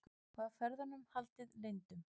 Var ferðunum haldið leyndum